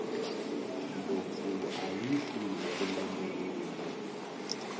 ndlopfu ayi fi hi rimbambu rinwe